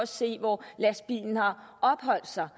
se hvor lastbilen har opholdt sig